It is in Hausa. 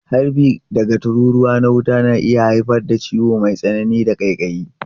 Harbi daga tururuwa na wuta na iya haifar da ciwo mai tsanani da ƙaiƙayi.